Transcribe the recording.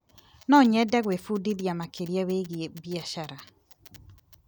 No nyende gwĩbundithia makĩria wĩgiĩ biacara.